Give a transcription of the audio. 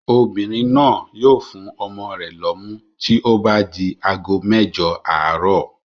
Obìnrin náà yóò fún ọmọ rẹ̀ lọ́mú tí ó bá di ago mẹ́jọ àárọ̀.